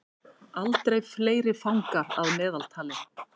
Aldrei fleiri fangar að meðaltali